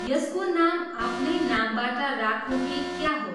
यसको नाम आफ्नै नामबाट राखुँ कि क्या हो!